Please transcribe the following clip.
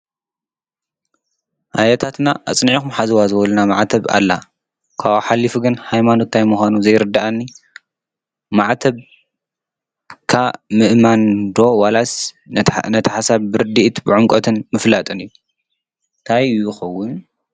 ኣያታትና ኣጽኒዕኩም ሓዝዋ ዝበሉና ማዕተብ ኣላ ታብኡ ሓሊፉ ግን ሃይማኖት ታይ ምኳኑ ዘይርዳኣኒ ማዕተብ ምእማን ዶ ዋላስ ነቲ ሓሳብ ብርድኢት ብዕምቖትን ምፍላጥ እዩ እንታይ ይከዉን?